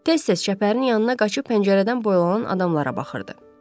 Tez-tez çəpərin yanına qaçıb pəncərədən boylanan adamlara baxırdı.